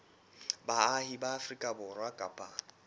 baahi ba afrika borwa kapa